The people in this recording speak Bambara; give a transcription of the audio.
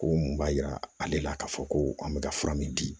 Ko mun b'a yira ale la k'a fɔ ko an bɛ ka fura min di